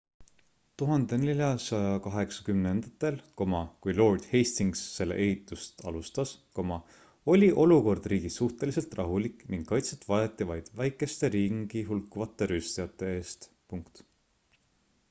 1480ndatel kui lord hastings selle ehitust alustas oli olukord riigis suhteliselt rahulik ning kaitset vajati vaid väikeste ringi hulkuvate rüüstajate eest